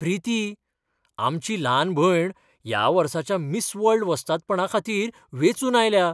प्रीती! आमची ल्हान भयण ह्या वर्साच्या मिस वर्ल्ड वस्तादपणाखातीर वेंचून आयल्या!